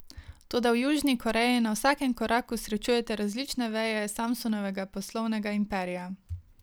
Toda v Južni Koreji na vsakem koraku srečujete različne veje Samsungovega poslovnega imperija.